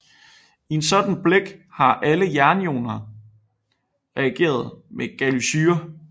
I en sådan blæk har alle jernioner reageret med gallussyre